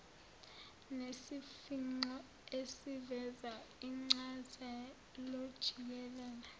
nesifingqo esiveza incazelojikelele